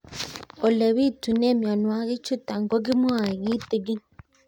Ole pitune mionwek chutok ko kimwau kitig'ín